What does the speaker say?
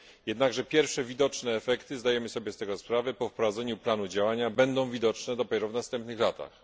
Jednakże pierwsze widoczne efekty zdajemy sobie z tego sprawę po wprowadzeniu planu działania będą widoczne dopiero w następnych latach.